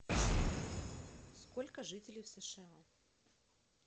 сколько жителей в сша